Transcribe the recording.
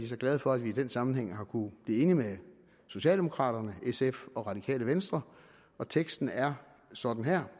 så glade for at vi i den sammenhæng har kunnet blive enig med socialdemokraterne sf og radikale venstre teksten er sådan her